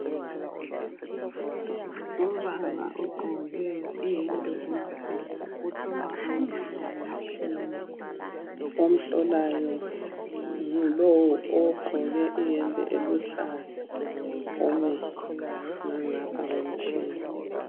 Ubaba ogqoke iyembe emhlophe uhlolwa amehlo ngomtshina . Omhlolayo ngulo ogqoke iyembe eluhlaza omi ngangapha komtshina.